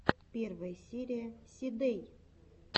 первая серия си дэй